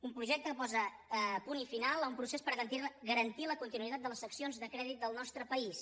un projecte que posa punt i final a un procés per garantir la continuïtat de les seccions de crèdit del nostre país